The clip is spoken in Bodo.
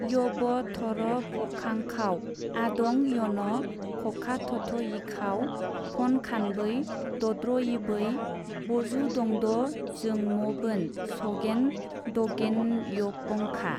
यबथरफखाङखाव आदं यन खखाथथयिखाव फनखानबै दद्रयिबै बजुदंदजोंमबोन सगेन दगेनयपङखा-